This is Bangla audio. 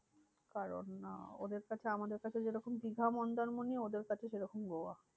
কারণ আহ ওদের কাছে আমাদের কাছে যেরকম দিঘা মন্দারমণি ওদের কাছে সেরকম গোয়া।